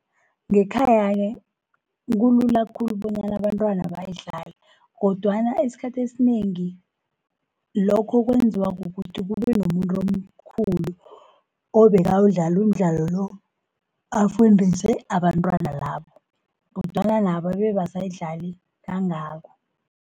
Ngekhaya-ke kulula khulu bonyana abantwana bayidlale, kodwana esikhathini esinengi lokho kwenziwa kukuthi kube nomuntu mkhulu obekawudlala umdlalo lo, afundise abantwana labo, kodwana nabo abe abasayidlali kangako.